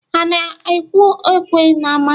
Ha na-akwụ ekwe n’ama?